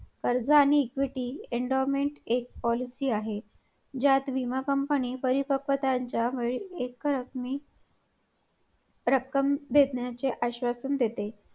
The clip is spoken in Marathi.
कर्ज आणि equity endowment एक policy आहे ज्यात विमा company परिपक्व एक रकमी रक्कम देण्याचे आश्वासन देते.